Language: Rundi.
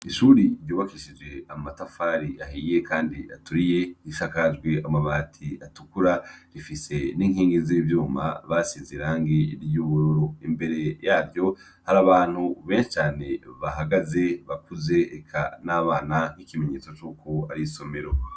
Ishure ryubakishijwe amatafari ahiye kandi aturiye risakajwe amabati atukura rifise n'inkingi z'ivyuma basize irangi ry'ubururu. Imbere yaryo hari abantu benshi cane bahagaze: abakuze eka n'abana nk'ikimenyetso c'uko ari isomero.